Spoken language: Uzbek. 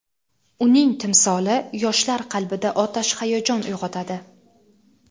uning timsoli yoshlar qalbida otash hayajon uyg‘otadi.